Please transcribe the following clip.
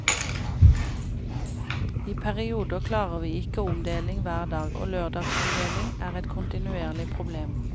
I perioder klarer vi ikke omdeling hver dag, og lørdagsomdeling er et kontinuerlig problem.